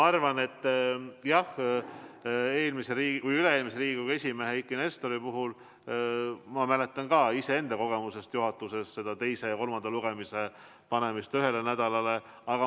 Aga jah, üle-eelmise Riigikogu esimehe Eiki Nestori puhul ma mäletan ka iseenda kogemusest juhatuses seda teise ja kolmanda lugemise panemist ühele nädalale.